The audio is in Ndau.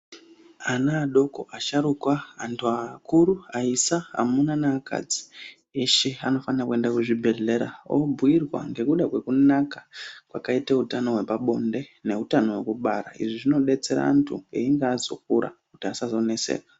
Ana adoko, asharuka, antu akuru, aisa, amuna neakadzi eshe anofanira kuenda kuchibhedhlera obhuyirwa ngokuda kwekunaka kwakaita utano hwepabonde neutano hwekubara izvi zvinodetsera antu einge azokura kuti asanetseka.